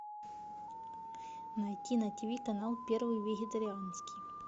найти на тв канал первый вегетарианский